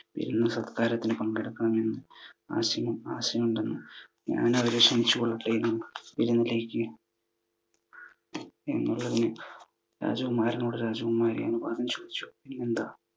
വിരുന്നു സൽക്കാരത്തിന് പങ്കെടുക്കാൻ വേണ്ടി ആശയം തന്ന്, ഞാൻ അവരെ ക്ഷണിച്ചു കൊള്ളട്ടെ വിരുന്നിലേക്ക്? എന്ന് രാജകുമാരനോട് രാജകുമാരി അനുവാദം ചോദിച്ചു. അതിനെന്താ